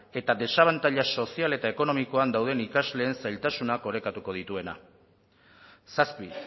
eta desabantaila sozial eta ekonomikoan dauden ikasleen zailtasunak orekatu dituena zazpi